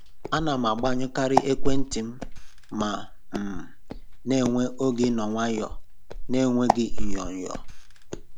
Ana m agbanyụkarị ekwentị m ma um na-enwe oge ịnọ nwayọọ na-enweghị onyoo nyoo